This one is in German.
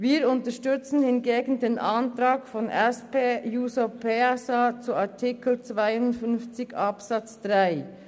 Wir unterstützen hingegen den Antrag der SP-JUSO-PSA-Fraktion zu Artikel 52 Absatz 3.